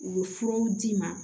U bɛ furaw d'i ma